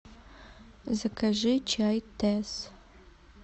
закажи чай тесс